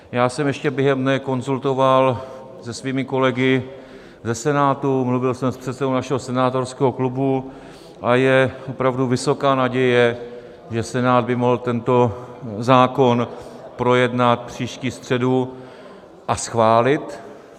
Já jsem ještě během dne konzultoval se svými kolegy ze Senátu, mluvil jsem s předsedou našeho senátorského klubu a je opravdu vysoká naděje, že Senát by mohl tento zákon projednat příští středu a schválit.